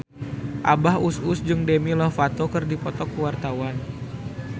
Abah Us Us jeung Demi Lovato keur dipoto ku wartawan